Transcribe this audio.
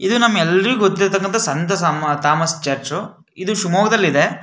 ಇದು ನಮ್ಮ ಎಲ್ಲರಿಗೂ ಗೊತ್ತಿರತಕ್ಕಂಥ ಸಂತ ಸಾಮ ಥಾಮಸ್ ಚರ್ಚ್ . ಇದು ಶಿವಮೊಗ್ಗ ದಲ್ಲಿದೆ.